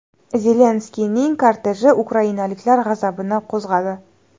Zelenskiyning korteji ukrainaliklar g‘azabini qo‘zg‘adi .